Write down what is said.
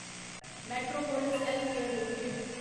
metropolis healthcare limited